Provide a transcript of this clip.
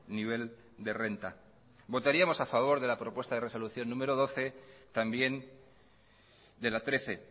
nivel de renta votaríamos a favor de la propuesta de resolución número doce también de la trece